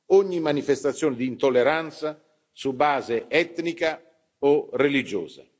ogni manifestazione di intolleranza su base etnica o religiosa.